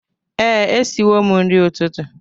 Ee, e siwo m nri ụtụtụ